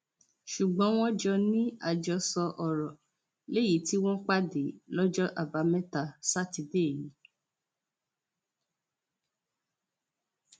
ṣùgbọn wọn jọ ní àjọsọ ọrọ léyìí tí wọn pàdé lọjọ àbámẹta sátidé yìí